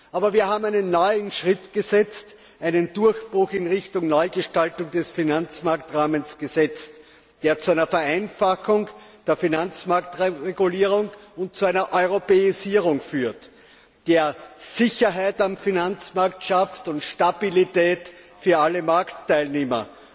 Aber wir einen neuen Schritt, einen Durchbruch in Richtung Neugestaltung des Finanzmarktrahmens, der zu einer Vereinfachung der Finanzmarktregulierung und zu einer Europäisierung führt, der Sicherheit am Finanzmarkt schafft, Stabilität für alle Marktteilnehmer,